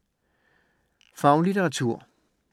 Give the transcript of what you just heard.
Faglitteratur